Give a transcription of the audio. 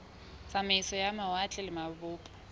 tsamaiso ya mawatle le mabopo